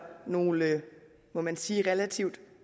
nogle må man sige relativt